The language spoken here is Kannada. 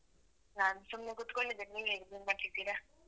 ನಾನ್ ಸುಮ್ನೆ ಕುತ್ಕೊಂಡಿದೆನೆ ನೀವ್ ಏನ್ ಮಾಡ್ತಿದ್ದೀರ?